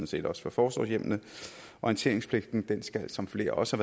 set også for forsorgshjemmene orienteringspligten skal som flere også